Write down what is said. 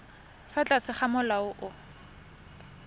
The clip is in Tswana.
fa tlase ga molao o